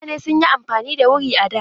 Mutane sun yi amfani da wuri a da.